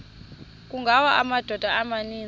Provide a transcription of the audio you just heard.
kungawa amadoda amaninzi